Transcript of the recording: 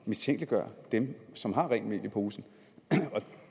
mistænkeliggøre dem som har rent mel i posen og